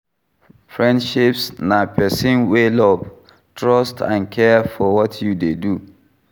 Friendships na pesin wey love, trust and care for what you dey do.